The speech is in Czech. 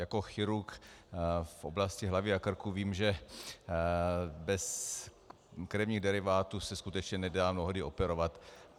Jako chirurg v oblasti hlavy a krku vím, že bez krevních derivátů se skutečně nedá mnohdy operovat.